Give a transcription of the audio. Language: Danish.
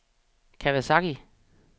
Kawasaki